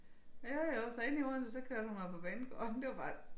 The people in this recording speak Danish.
Jo jo så inde i Odense der kørte hun mig på banegården det var bare